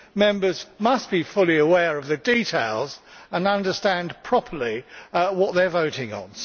Members must be fully aware of the details and understand properly what they are voting on.